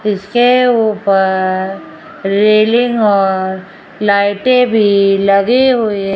इसके ऊपर रेलिंग और लाइटें भी लगी हुई --